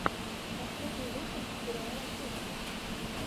последний выпуск сериал кухня